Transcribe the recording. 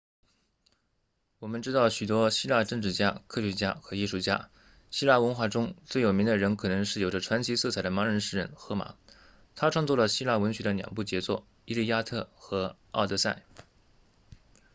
我们知道许多希腊政治家科学家和艺术家希腊文化中最有名的人可能是有着传奇色彩的盲人诗人荷马他创作了希腊文学的两部杰作伊利亚特和奥德赛